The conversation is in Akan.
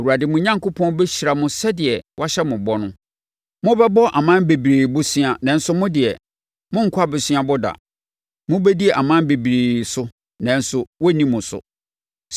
Awurade mo Onyankopɔn bɛhyira mo sɛdeɛ wahyɛ mo bɔ no. Mobɛbɔ aman bebree bosea nanso mo deɛ, morenkɔ aboseabɔ da. Mobɛdi aman bebree so nanso wɔrenni mo so.